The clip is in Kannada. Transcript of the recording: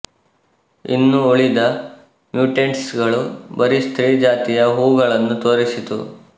ಇನ್ನು ಉಳಿದ ಮ್ಯುಟೆಂಟ್ಸಗಳು ಬರೀ ಸ್ತ್ರೀ ಜಾತಿಯ ಹೂವುಗಳನ್ನು ತೋರಿಸಿತು